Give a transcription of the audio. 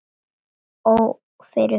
Ó fyrir framan